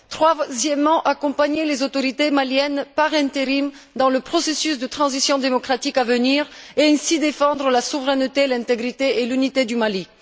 troisièmement, accompagner les autorités maliennes par intérim dans le processus de transition démocratique à venir et ainsi défendre la souveraineté et l'intégrité et l'unité du Mali